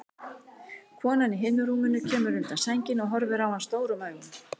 Konan í hinu rúminu kemur undan sænginni og horfir á hann stórum augum.